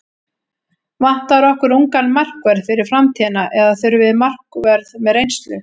Vantar okkur ungan markvörð fyrir framtíðina eða þurfum við markvörð með reynslu?